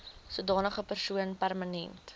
sodanige persoon permanent